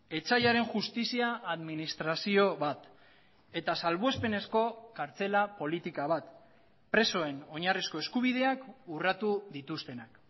etsaiaren justizia administrazio bat eta salbuespenezko kartzela politika bat presoen oinarrizko eskubideak urratu dituztenak